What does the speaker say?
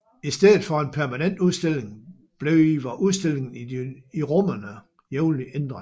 I stedet for en permanent udstilling bliver udstillingerne i de rummene jævnligt ændret